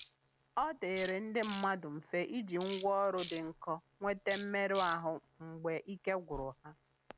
ọdịịrị ndi mmadụ mfe iji ngwa ọrụ dị nkọ nwete mmerụ ahụ mgbe ike gwụrụ ha.